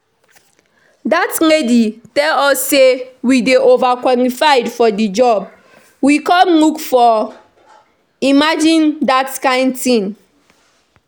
Dat lady tell us say we dey over qualified for the job we come look for, imagine dat kin thing.